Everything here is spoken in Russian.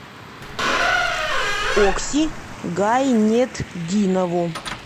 окси гайнетдинову